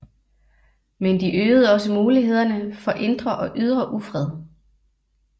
Men de øgede også mulighederne for indre og ydre ufred